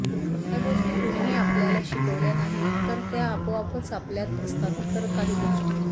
या गोष्टी कुणीही आपल्याला शिकवल्या नाहीत तर त्या आपोआपच आपल्यात असतात तर काही गोष्टी